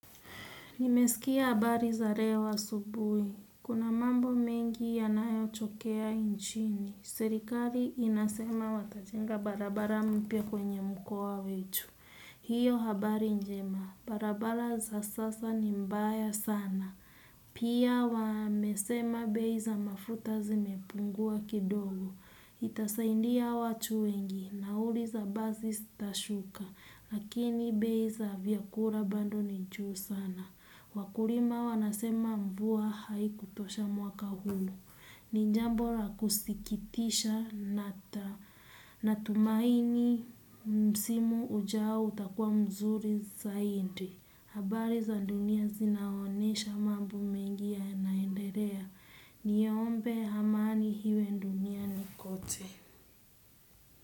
Nimesikia habari za leo asubuhi. Kuna mambo mengi yanayotokea nchini. Serikali inasema watajenga barabara mpya kwenye mkoa wetu. Hiyo habari njema. Barabara za sasa ni mbaya sana. Pia wamesema bei za mafuta zimepungua kidogo. Itasaidia watu wengi. Nauli za basi zitashuka. Lakini bei za vyakula bado ni juu sana. Wakulima wanasema mvua haikutosha mwaka huu. Ni jambo la kusikitisha nina tumaini msimu ujao utakuwa mzuri zaidi. Habari za dunia zinaonyesha mambo mengi yanaendelea. Niombe amani iwe duniani kote.